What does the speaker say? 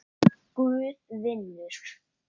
Guð vinnur.